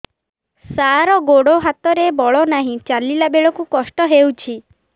ସାର ଗୋଡୋ ହାତରେ ବଳ ନାହିଁ ଚାଲିଲା ବେଳକୁ କଷ୍ଟ ହେଉଛି